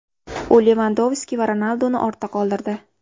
U Levandovski va Ronalduni ortda qoldirdi.